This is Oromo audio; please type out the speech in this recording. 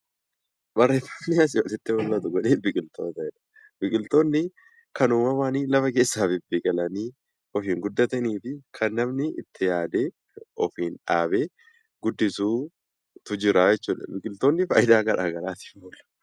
Barreeffamni asii olitti mul'atu kuni biqiltoota jedha. Biqiltoonni kan uumamaan lafa keessaa bibbiqilanii yookiin guddatanii fi kan namni itti yaadee ofiin dhaabee guddisutu jira jechuudha. Biqiltoonni faayidaa garaa garaatiif oolu.